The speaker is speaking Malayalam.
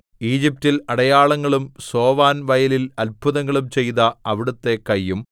ഈജിപ്റ്റിൽ അടയാളങ്ങളും സോവാൻവയലിൽ അത്ഭുതങ്ങളും ചെയ്ത അവിടുത്തെ കയ്യും